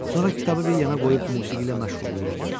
Sonra kitabı bir yana qoyub musiqi ilə məşğul olurduq.